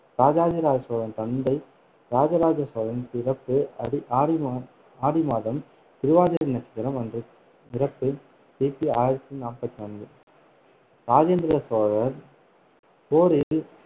இராஜாதிராஜ சோழன் தந்தை இராஜராஜ சோழன் பிறப்பு அடி~ ஆடி மாதம் திருவாதிரை நட்சத்திரம் அன்று இறப்பு கி பி ஆயிரத்தி நாப்பத்து நான்கு இராஜேந்திர சோழர் போரில்